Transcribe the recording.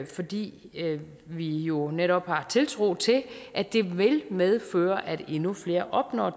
fordi vi jo netop har en tiltro til at det vil medføre at endnu flere opnår